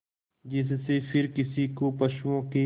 जिससे फिर किसी को पशुओं के